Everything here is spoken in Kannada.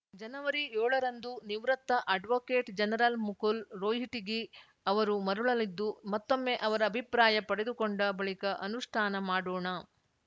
ಜನವರಿ ಯೋಳ ರಂದು ನಿವೃತ್ತ ಅಡ್ವೊಕೇಟ್‌ ಜನರಲ್‌ ಮುಕುಲ್‌ ರೋಹಿಟಗಿ ಅವರು ಮರಳಲಿದ್ದು ಮತ್ತೊಮ್ಮೆ ಅವರ ಅಭಿಪ್ರಾಯ ಪಡೆದುಕೊಂಡ ಬಳಿಕ ಅನುಷ್ಠಾನ ಮಾಡೋಣ